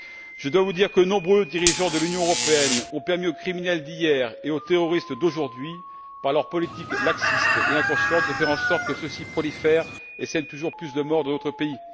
Je dois vous dire que de nombreux dirigeants de l'Union européenne ont permis aux criminels d'hier et aux terroristes d'aujourd'hui, par leur politique laxiste et inconsciente, de faire en sorte que ceux ci prolifèrent et sèment toujours plus de morts dans notre pays.